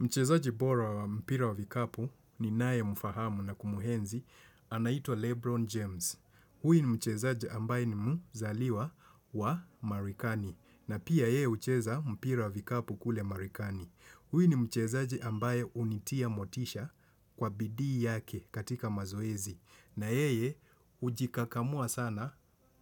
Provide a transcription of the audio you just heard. Mchezaji bora wa mpira wa vikapu ni naye mfahamu na kumuenzi, anaitwa Lebron James. Huyu mchezaji ambaye ni mzaliwa wa marekani. Na pia ye hucheza mpira wa vikapu kule marekani. Huyu ni mchezaji ambaye hunitia motisha kwa bidii yake katika mazoezi. Na yeye hujikakamua sana